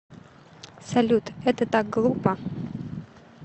салют это так глупо